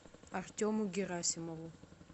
артему герасимову